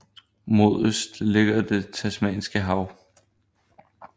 Mod øst ligger det Tasmanske Hav